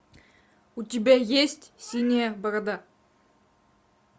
у тебя есть синяя борода